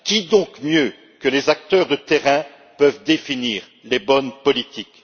Qui mieux que les acteurs de terrain peut définir les bonnes politiques?